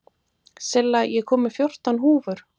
Silla, ég kom með fjórtán húfur!